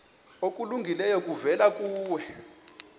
okulungileyo kuvela kuye